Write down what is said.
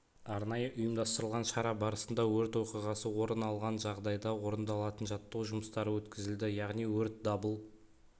арнайы ұйымдастырылған шара барысында өрт оқиғасы орын алған жағдайда орындалатын жаттығу жұмыстары өткізілді яғни өрт дабыл